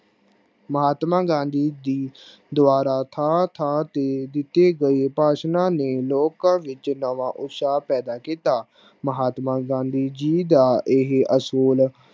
ਮਹਾਤਮਾ ਗਾਂਧੀ ਜੀ ਦੁਆਰਾ ਥਾਂ ਥਾਂ ਤੇ ਦਿਤੇ ਗਏ ਭਾਸ਼ਨਾ ਨੇ ਲੋਕਾਂ ਵਿੱਚ ਨਵਾਂ ਉਤਸ਼ਾਹ ਪੈਦਾ ਕੀਤਾ ਮਹਾਤਮਾ ਗਾਂਧੀ ਜੀ ਦਾ ਇਹ ਅਸੂਲ